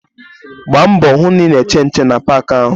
Gba mbọ hụ na ị na-eche nche na paakị ahụ!